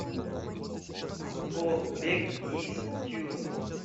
побег из тюрьмы